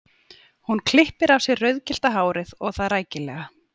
Hún klippir af sér rauðgyllta hárið og það rækilega.